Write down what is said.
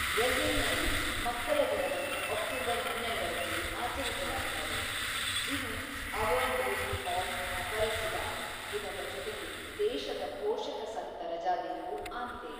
ಬ್ರೆಜಿಲ್‌ನಲ್ಲಿ, ಮಕ್ಕಳ ದಿನವನ್ನು ಅಕ್ಟೋಬರ್ ೧೨ ರಂದು ಆಚರಿಸಲಾಗುತ್ತದೆ, ಇದು ಅವರ್ ಲೇಡಿ ಆಫ್ ಅಪರೆಸಿಡಾ ದಿನದ ಜೊತೆಗೆ ದೇಶದ ಪೋಷಕ ಸಂತ ರಜಾದಿನವೂ ಆಗಿದೆ.